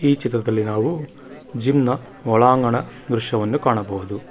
ಈ ಚಿತ್ರದಲ್ಲಿ ನಾವು ಜಿಮ್ ನ ಒಳಾಂಗಣ ದೃಶ್ಯವನ್ನು ಕಾಣಬಹುದು.